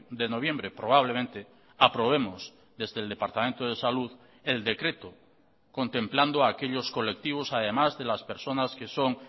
de noviembre probablemente aprobemos desde el departamento de salud el decreto contemplando aquellos colectivos además de las personas que son